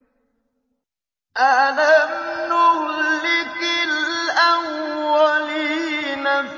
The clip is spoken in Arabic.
أَلَمْ نُهْلِكِ الْأَوَّلِينَ